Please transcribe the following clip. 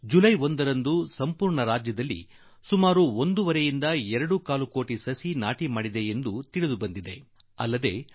July ಒಂದರಂದು ಮಹಾರಾಷ್ಟ್ರ ಸರ್ಕಾರ ಇಡೀ ರಾಜ್ಯದಲ್ಲಿ ಎರಡೂ ಕಾಲ ಕೋಟಿ ಗಿಡಗಳನ್ನು ನೆಟ್ಟಿದೆ ಎಂದು ನನಗೆ ತಿಳಿಸಲಾಗಿದೆ